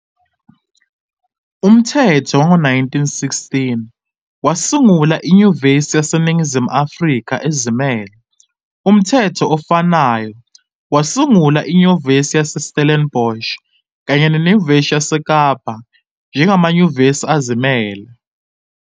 Umthetho wango-1916 wasungula iNyuvesi yaseNingizimu Afrika ezimele, umthetho ofanayo wasungula iNyuvesi yaseStellenbosch kanye neNyuvesi yaseKapa njengamanyuvesi azimele,